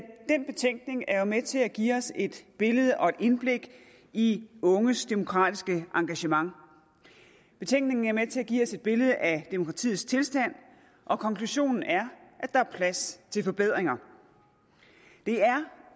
den betænkning er med til at give os et billede af og et indblik i unges demokratiske engagement betænkningen er med til at give os et billede af demokratiets tilstand og konklusionen er at der er plads til forbedringer det er